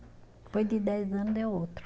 Depois de dez ano deu outro.